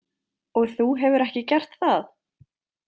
Og þú hefur ekki gert það?